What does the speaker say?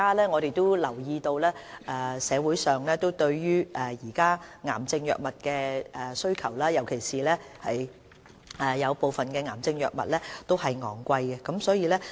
我們也留意到現時社會對癌症藥物的需求，而部分癌症藥物卻費用高昂。